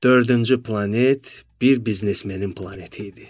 Dördüncü planet bir biznesmenin planeti idi.